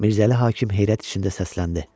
Mirzəli hakim heyrət içində səsləndi.